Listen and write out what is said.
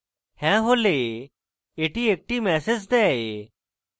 হ্যাঁ হলে এটি একটি ম্যাসেজ দেয়